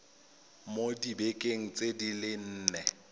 mo dibekeng di le nne